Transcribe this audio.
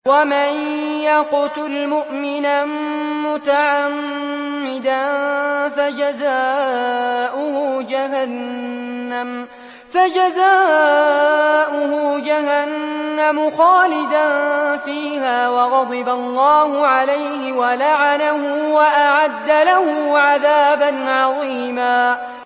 وَمَن يَقْتُلْ مُؤْمِنًا مُّتَعَمِّدًا فَجَزَاؤُهُ جَهَنَّمُ خَالِدًا فِيهَا وَغَضِبَ اللَّهُ عَلَيْهِ وَلَعَنَهُ وَأَعَدَّ لَهُ عَذَابًا عَظِيمًا